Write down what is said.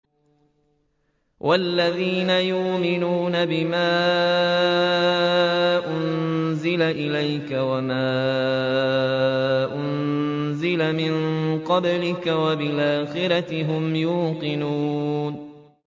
وَالَّذِينَ يُؤْمِنُونَ بِمَا أُنزِلَ إِلَيْكَ وَمَا أُنزِلَ مِن قَبْلِكَ وَبِالْآخِرَةِ هُمْ يُوقِنُونَ